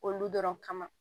Olu dɔrɔn kama